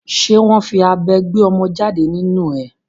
Ṣé wọ́n fi abẹ gbé ọmọ jáde nínu ẹ?